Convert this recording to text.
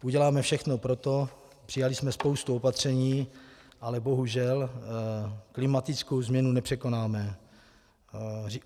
Uděláme všechno pro to, přijali jsme spoustu opatření, ale bohužel klimatickou změnu nepřekonáme.